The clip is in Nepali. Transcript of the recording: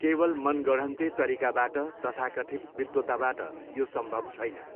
केवल मनागढन्ते तरिकाबाट तथाकथित विद्वताबाट यो सम्भव छैन।